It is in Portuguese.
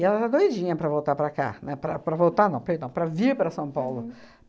E ela está doidinha para voltar para cá, né, para para voltar não, para vir para São Paulo.